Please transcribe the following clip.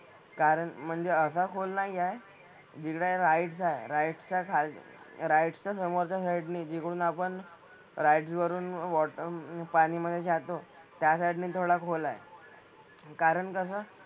कारण म्हणजे असा खोल नाही आहे. जिकडे राइड्स आहे राइड्स च्या खाल राइड्स च्या समोरच्या साईड ने जिकडून आपण राइड्स वरून वॉटर पाणी मधे जातो त्या ने थोड साईड खोल आहे. कारण कसं,